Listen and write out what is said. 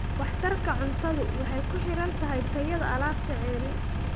Waxtarka cuntadu waxay ku xiran tahay tayada alaabta ceeriin.